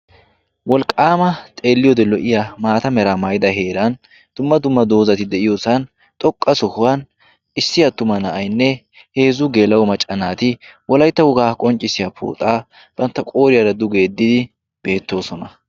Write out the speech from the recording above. Wolqqaama xeelliyoode lo"iya maata meraa maayida heeran dumma dumma doozati de'iyoosan xoqqa sohuwan issi attuma na'aynne heezzu geelau maccanaati wolaytta wogaa qonccissiya pooxaa bantta qooriyaara dugeeddidi beettoosona.